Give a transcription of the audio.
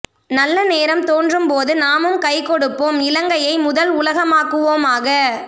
நல்ல நேரம் தோன்றும் போது நாமும் கைகொடுப்போம் இலங்கையை முதல் உலகமாக்குவோமாக